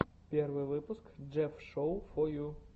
первый выпуск джефф шоу фо ю